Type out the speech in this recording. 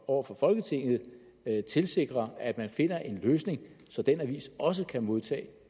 over for folketinget tilsikre at man finder en løsning så den avis også kan modtage